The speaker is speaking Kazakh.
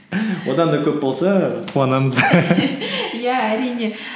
одан да көп болса қуанамыз иә әрине